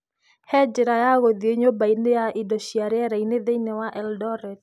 he njĩra ya gũthiĩ nyũmba-inĩ ya indo cia rĩera-inĩ thĩinĩ wa Eldoret